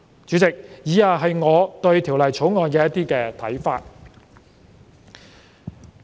主席，以下是我對《條例草案》的看法。